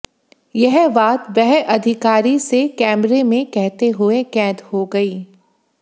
यह बात वह अधिकारी से कैमरे में कहते हुए कैद हो गईं